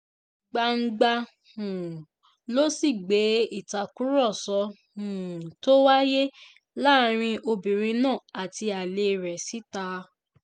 gbangba um ló sì gbé ìtàkùrọ̀sọ um tó wáyé láàrin obìnrin náà àti alẹ́ rẹ̀ síta